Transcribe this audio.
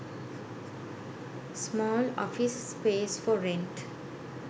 small office space for rent